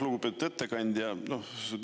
Lugupeetud ettekandja!